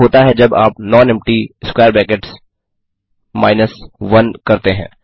क्या होता है जब आप nonempty 1 करते हैं